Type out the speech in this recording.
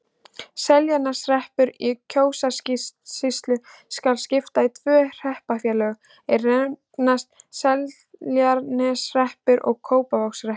Seltjarnarneshreppi í Kjósarsýslu skal skipt í tvö hreppsfélög, er nefnast Seltjarnarneshreppur og Kópavogshreppur.